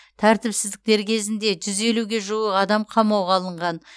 тәртіпсіздіктер кезінде жүз елуге жуық адам қамауға алынған